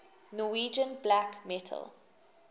norwegian black metal